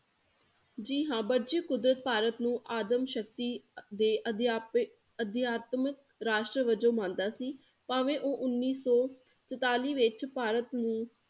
ਜੀ ਹਾਂ, ਵਰਜੀ ਕੁਦਰਤ ਭਾਰਤ ਨੂੰ ਆਦਮ ਸ਼ਕਤੀ ਦੇ ਅਧਿਆਪੇ ਅਧਿਆਤਮਿਕ ਰਾਸ਼ਟਰ ਵਜੋਂ ਮੰਨਦਾ ਸੀ, ਭਾਵੇਂ ਉਹ ਉੱਨੀ ਸੋ ਚੁਤਾਲੀ ਵਿੱਚ ਭਾਰਤ ਨੂੰ